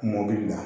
Mɔbili la